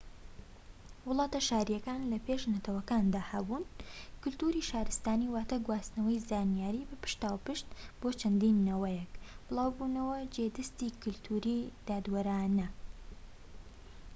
وڵاتە شاریەکان لە پێش نەتەوەکاندا هەبوون کەلتوری شارستانی واتە گواستنەوەی زانیاری بە پشتاوپشت بۆ چەند نەوەیەك بڵاوبوونەوەی جێ دەستی کەلتوریی دادوەرانە